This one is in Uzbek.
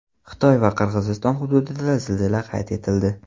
Xitoy va Qirg‘iziston hududida zilzila qayd etildi.